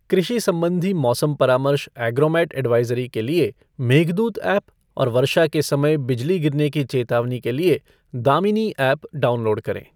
कृषि सम्बन्धी मौसम परामर्श ऐग्रोमेट ऐडवाइजरी के लिए मेघदूत एप और वर्षा के समय बिजली गिरने की चेतावनी के लिए दामिनी एप डाउनलोड करें।